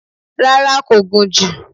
Rárá, kò gùn jù